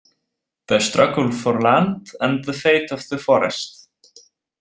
The struggle for Land and the Fate of the Forest.